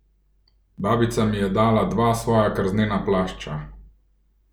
Babica mi je dala dva svoja krznena plašča!